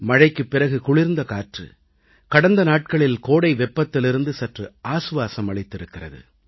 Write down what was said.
மழைக்குப் பிறகு குளிர்ந்த காற்று கடந்த நாட்களில் கோடை வெப்பத்திலிருந்து சற்று ஆசுவாசம் அளித்திருக்கிறது